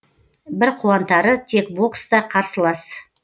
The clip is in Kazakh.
бір қуантары тек бокста қарсылас